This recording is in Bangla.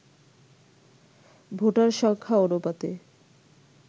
ভোটার সংখ্যা অনুপাতে